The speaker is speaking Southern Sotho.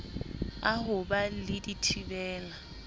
a ho ba le dithibela